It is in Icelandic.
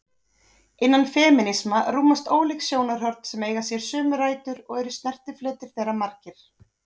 Innan femínisma rúmast ólík sjónarhorn sem eiga sér sömu rætur og eru snertifletir þeirra margir.